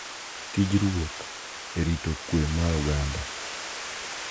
Tij ruoth e rito kwe mar oganda,